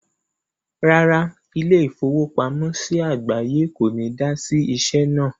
Rárá, ilé-ìfowópamọ́sí àgbáye kò ní dá sí iṣẹ́ náà.